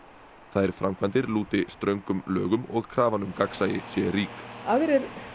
þær framkvæmdir lúti ströngum lögum og krafan um gagnsæi sé rík aðrir